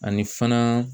Ani fana